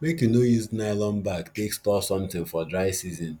make u no use nylon bag take store something for dry season